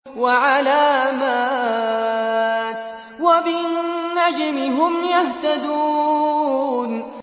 وَعَلَامَاتٍ ۚ وَبِالنَّجْمِ هُمْ يَهْتَدُونَ